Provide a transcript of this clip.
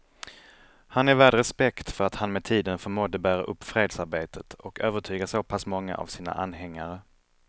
Han är värd respekt för att han med tiden förmådde bära upp fredsarbetet och övertyga så pass många av sina anhängare.